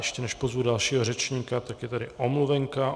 Ještě než pozvu dalšího řečníka, tak je tady omluvenka.